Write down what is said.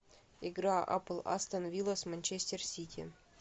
игра апл астон вилла с манчестер сити